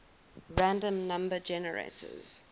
random number generators